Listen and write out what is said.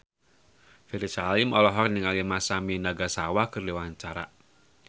Ferry Salim olohok ningali Masami Nagasawa keur diwawancara